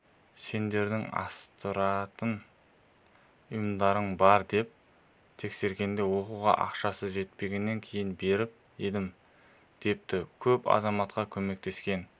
сендердің астыртын ұйымдарың бар деп тексергенде оқуға ақшасы жетпегеннен кейін беріп едім депті көп азаматтарға көмектескен